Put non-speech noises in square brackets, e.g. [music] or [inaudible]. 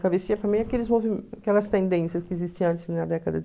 Travessia para mim é aqueles [unintelligible] aquelas tendências que existiam antes, na década